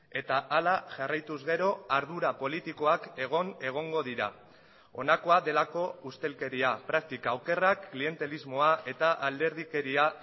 eta hala jarraituz gero ardura politikoak egon egongo dira honakoa delako ustelkeria praktika okerrak klientelismoa eta alderdikeria